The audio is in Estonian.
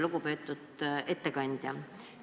Lugupeetud ettekandja!